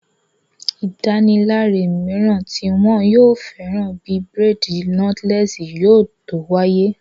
Ìdárunlárà mìíràn tí wọn yóò fẹ́ràn bíi bírèèdì nọ́tílẹ́ẹ̀sì yóò tó wáyé